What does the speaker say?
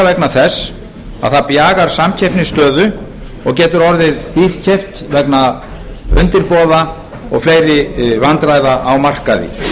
vegna þess að það bjagar samkeppnisstöðu og getur orðið dýrkeypt vegna undirboða og fleiri vandræða á markaði